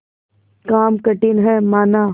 काम कठिन हैमाना